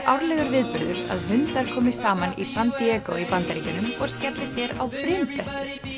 árlegur viðburður að hundar komi saman í San í Bandaríkjunum og skelli sér á brimbretti